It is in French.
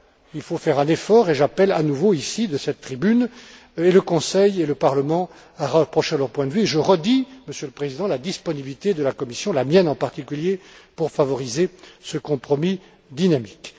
Il faut faire un effort, et j'appelle à nouveau, ici, de cette tribune, et le Conseil et le Parlement à rapprocher leurs points de vue. Et je redis, Monsieur le Président, la disponibilité de la Commission, ma disponibilité en particulier, pour favoriser ce compromis dynamique.